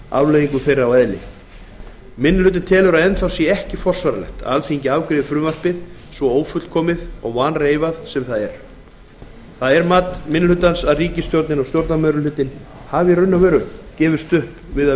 afleiðingum þeirra og eðli minni hlutinn telur að enn þá sé ekki forsvaranlegt að alþingi afgreiði frumvarpið svo ófullkomið og vanreifað sem það er það er mat minni hlutans að ríkisstjórnin og stjórnarmeirihlutinn hafi gefist upp við að